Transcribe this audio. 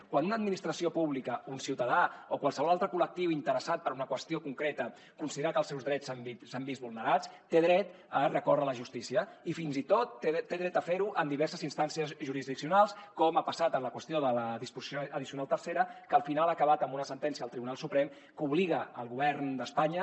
quan una administració pública un ciutadà o qualsevol altre col·lectiu interessat per una qüestió concreta considera que els seus drets s’han vist vulnerats té dret a recórrer a la justícia i fins i tot té dret a fer ho en diverses instàncies jurisdiccionals com ha passat en la qüestió de la disposició addicional tercera que al final ha acabat amb una sentència del tribunal suprem que obliga el govern d’espanya